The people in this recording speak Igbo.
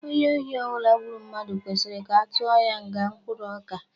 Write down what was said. Onye ohi ọbụla gburu mmadụ kwesịrị ka atụọ ya nga mkpụrụ ọka.